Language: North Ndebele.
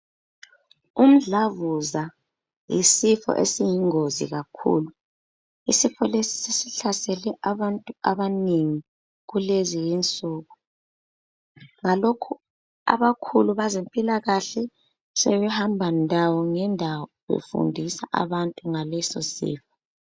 Umdlavuza yisifo esiyingozi kakhulu. Isifo lesi sesihlasele abantu abanengi kulezi insuku ngalokho abakhulu bezempilakahle sebehamba ngendawo ngendawo befundisa abantu ngaleso sifo.